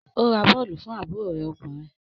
Ó ra bọ́ọ̀lù fún àbúrò rẹ ọkùnrin